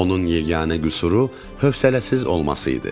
Onun yeganə qüsuru hövsələsiz olması idi.